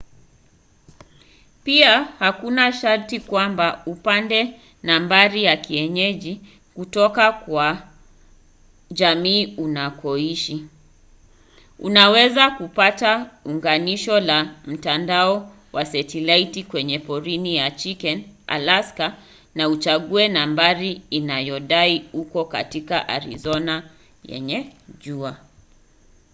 pia hakuna sharti kwamba upate nambari ya kienyeji kutoka kwa jamii unakoishi; unaweza kupata unganisho la mtandao wa satelaiti kwenye porini ya chicken alaska na uchague nambari inayodai uko katika arizona yenye jua